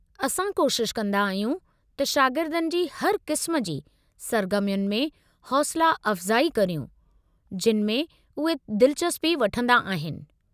असां कोशिश कंदा आहियूं त शागिर्दनि जी हर क़िस्म जी सर्गर्मियुनि में हौसला अफ़्ज़ाई करियूं जिन्हनि में उहे दिलचस्पी वठंदा आहिनि।